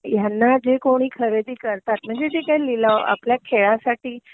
ह्यांना जे कोणी खरेदी करतात म्हणजे जे काही लिलाव आपल्या खेळासाठी